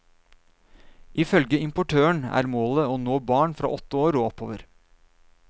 Ifølge importøren er målet å nå barn fra åtte år og oppover.